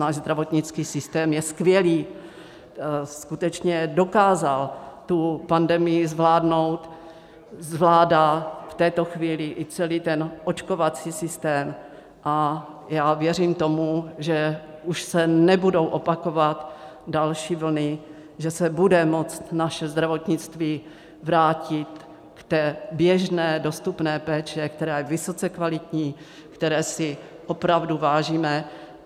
Náš zdravotnický systém je skvělý, skutečně dokázal tu pandemii zvládnout, zvládá v této chvíli i celý ten očkovací systém a já věřím tomu, že už se nebudou opakovat další vlny, že se bude moct naše zdravotnictví vrátit k té běžně dostupné péči, která je vysoce kvalitní, které si opravdu vážíme.